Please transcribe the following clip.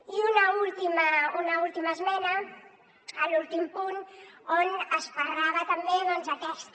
i una última esmena a l’últim punt on es parlava també doncs aquesta